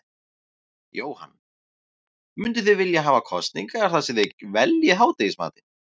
Jóhann: Mynduð þið vilja hafa kosningar þar sem þið veljið hádegismatinn?